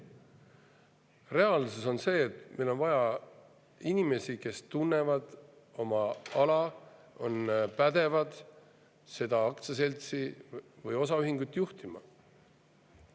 Reaalsus on see, et meil on vaja inimesi, kes tunnevad oma ala ja on pädevad aktsiaseltsi või osaühingut juhtima.